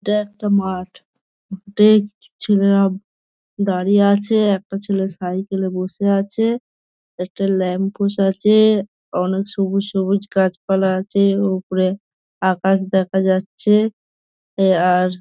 এটা একটা মাঠ। মাঠে ছ ছেলেরা দাঁড়িয়ে আছে। একটা ছেলে সাইকেল - এ বসে আছে। একটা ল্যাম্প পোস্ট আছে। অনেক সবুজ সবুজ গাছপালা আছে। ওপরে আকাশ দেখা যাচ্ছে। আর --